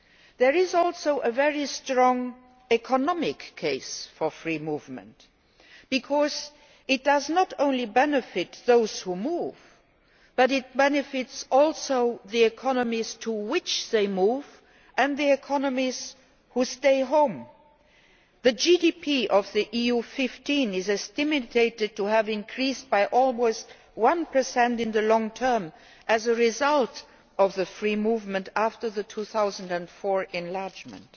There is also a very strong economic case for free movement, because it not only benefits those who move, it also benefits the economies to which they move and the economies from which they have moved. The GDP of the EU 15 is estimated to have increased by almost 1 in the long term as a result of the free movement after the 2004 enlargement.